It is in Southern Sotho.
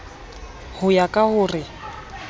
ho ya ka ho re